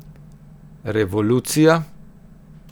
Revolucija?